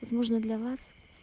возможно для вас